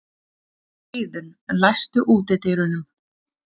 Eiðunn, læstu útidyrunum.